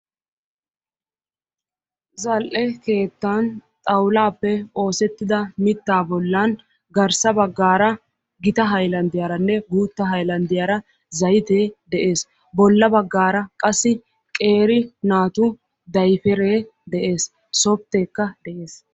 Zal"e keettan xaawulappe oosetidda mitta bollan garssa baggaara gita haylanddiyaaranne guuttaa haylanddiyaara zaytte de'ees. Bolla baggaara qassi qeero naatu daypere de'ees. Softekka de'ees.